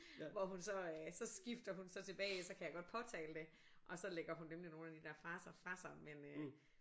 Hvor hun så øh så skifter hun så tilbage ellers så kan jeg godt påtale det og så lægger hun nemlig nogle af de der fraser fra sig men øh